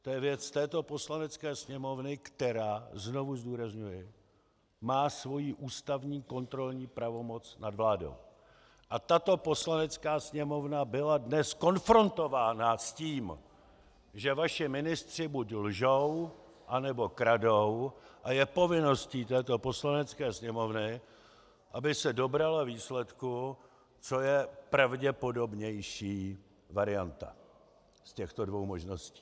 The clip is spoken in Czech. To je věc této Poslanecké sněmovny, která, znovu zdůrazňuji, má svoji ústavní kontrolní pravomoc nad vládou, a tato Poslanecká sněmovna byla dnes konfrontována s tím, že vaši ministři buď lžou, anebo kradou, a je povinností této Poslanecké sněmovny, aby se dobrala výsledku, co je pravděpodobnější varianta z těchto dvou možností.